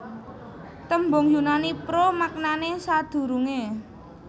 Tembung Yunani pro maknane sadurunge